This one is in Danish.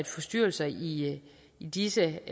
forstyrrelser i i disse